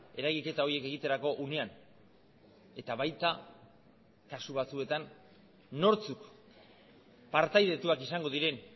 eragiketa horiek egiterako unean eta baita kasu batzuetan nortzuk partaidetuak izango diren